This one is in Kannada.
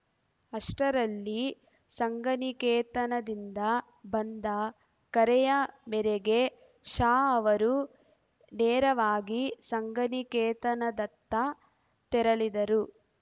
ಅಷ್ಟರಲ್ಲಿ ಸಂಘನಿಕೇತನದಿಂದ ಬಂದ ಕರೆಯ ಮೇರೆಗೆ ಶಾ ಅವರು ನೇರವಾಗಿ ಸಂಘನಿಕೇತನದತ್ತ ತೆರಳಿದರು